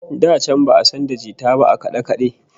Da can ba'a san da jita ba a kade-kade